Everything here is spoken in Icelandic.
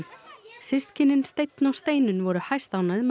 systkinin Steinn og Steinunn voru hæstánægð með